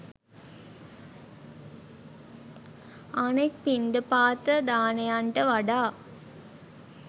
අනෙක් පිණ්ඩපාත දානයන්ට වඩා